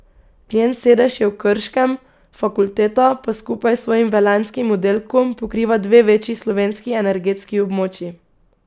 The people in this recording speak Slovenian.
Njen sedež je v Krškem, fakulteta pa skupaj s svojim velenjskim oddelkom pokriva dve večji slovenski energetski območji.